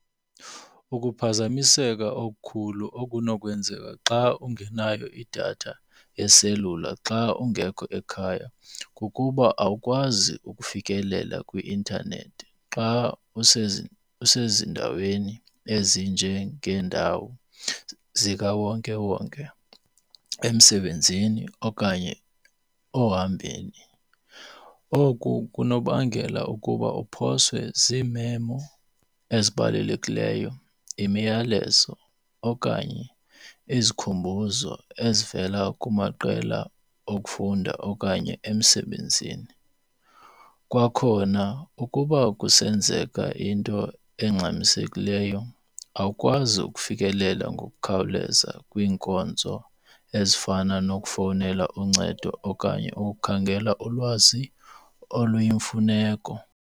Ukuphazamiseka okukhulu okunokwenzeka xa ungenayo idatha yeselula xa ungekho ekhaya kukuba awukwazi ukufikelela kwi-intanethi xa useziindaweni ezinjengeendawo zikawonkewonke, emsebenzini okanye ohambeni. Oku kunokubangela ukuba uphoswe ziimemo ezibalulekileyo, imiyalezo okanye izikhumbuzo ezivela kumaqela okufunda okanye emsebenzini. Kwakhona ukuba kusenzeka into engxamisekileyo awukwazi ukufikelela ngokukhawuleza kwiinkonzo ezifana nokufowunela uncedo okanye ukukhangela ulwazi oluyimfuneko.